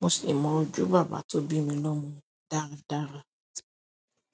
mo sì mọ ojú bàbá tó bí mi lọ́mo dáadáa.